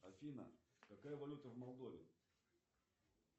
афина какая валюта в молдове